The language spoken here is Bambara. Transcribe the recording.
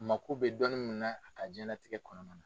Mako bɛ dɔɔnin min na a ka diɲɛlatigɛ kɔnɔna na.